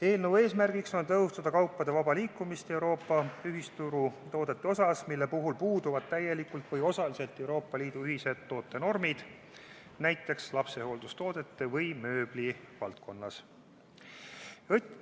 Eelnõu eesmärk on tõhustada kaupade vaba liikumist Euroopa ühisturu toodete osas, mille puhul puuduvad täielikult või osaliselt Euroopa Liidu ühised tootenormid, näiteks lapsehooldustoodete või mööbli valdkonnas.